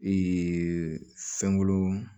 fɛnko